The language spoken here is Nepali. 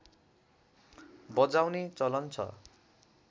बजाउने चलन छ